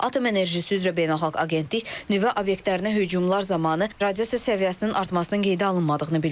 Atom Enerjisi üzrə Beynəlxalq Agentlik nüvə obyektlərinə hücumlar zamanı radiasiya səviyyəsinin artmasının qeydə alınmadığını bildirib.